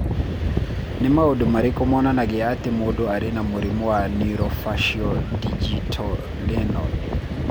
Nĩ maũndũ marĩkũ monanagia atĩ mũndũ arĩ na mũrimũ wa Neurofaciodigitorenal?